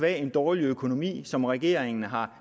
en dårlig økonomi som regeringen har